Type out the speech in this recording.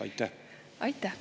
Aitäh!